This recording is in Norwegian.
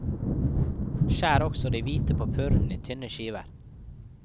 Skjær også det hvite på purren i tynne skiver.